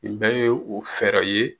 Nin bɛɛ ye o fɛɛrɛ ye